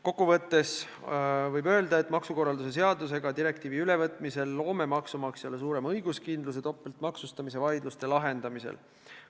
Kokku võttes võib öelda, et direktiivi ülevõtmisel me tagame maksukorralduse seadusega maksumaksjale suurema õiguskindluse topeltmaksustamise vaidluste lahendamisel.